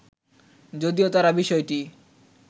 যদিও তারা বিষয়টি